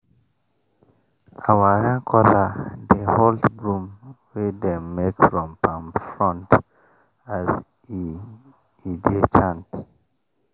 our rain caller dey hold broom wey dem make from palm frond as e e dey chant.